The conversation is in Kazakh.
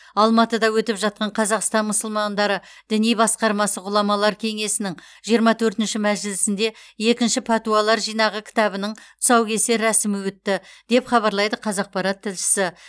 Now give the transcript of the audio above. алматыда өтіп жатқан қазақстан мұсылмандары діни басқармасы ғұламалар кеңесінің жиырма төртінші мәжілісінде екінші пәтуалар жинағы кітабының тұсаукесер рәсімі өтті деп хабарлайды қазақпарат тілшісі